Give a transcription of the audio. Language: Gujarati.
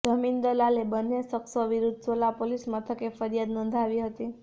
જમીન દલાલે બંન્ને શખ્સો વિરુદ્ધ સોલા પોલીસ મથકે ફરિયાદ નોંધાવી હતી